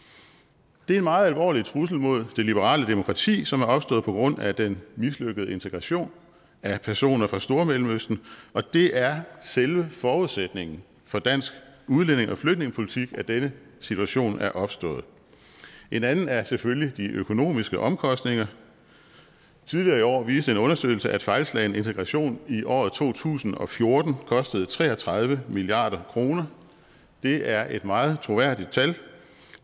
det er en meget alvorlig trussel imod det liberale demokrati som er opstået på grund af den mislykkede integration af personer fra stormellemøsten og det er selve forudsætningen for dansk udlændinge og flygtningepolitik at denne situation er opstået en anden er selvfølgelig de økonomiske omkostninger tidligere i år viste en undersøgelse at fejlslagen integration i året to tusind og fjorten kostede tre og tredive milliard kroner det er et meget troværdig tal